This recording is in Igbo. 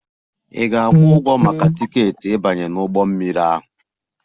Ị ga-akwụ ụgwọ maka tiketi ịbanye n'ụgbọ mmiri ahụ!